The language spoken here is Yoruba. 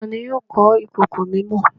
Tani yóò kọ ìkòkò mímọ?